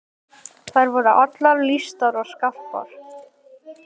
Þær voru allar vel lýstar og skarpar.